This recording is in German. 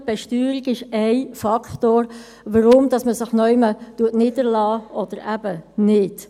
Die Besteuerung ist ein Faktor, weshalb man sich an einem Ort niederlässt oder eben nicht.